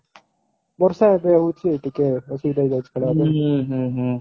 ବର୍ଷା ଏବେ ହଉଛି ଟିକେ ଅସୁବିଧା ହେଇଯାଉଛି ଖେଳିବା ପାଇଁ